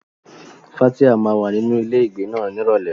Fathia máa wà nínú ilé ìgbé náà ní Ìrọ̀lẹ́.